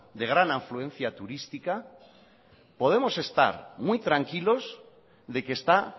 de gran afluencia turística podemos estar muy tranquilos de que está